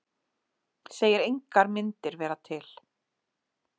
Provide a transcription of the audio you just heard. Segir engar myndir vera til